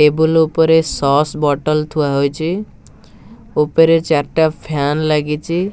Table ଉପରେ sauce bottle ଥୁଆ ହୋଇଛି ଉପରେ ଚାରିଟା ଫ୍ୟାନ ଲାଗିଛି।